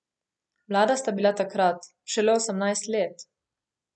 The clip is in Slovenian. Mlada sta bila takrat, šele osemnajst let.